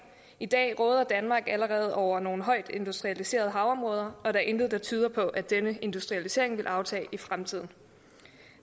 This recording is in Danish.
i dag råder danmark allerede over nogle højt industrialiserede havområder og der er intet der tyder på at denne industrialisering vil aftage i fremtiden